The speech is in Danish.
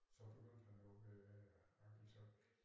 Så begyndte han jo øh arktitekt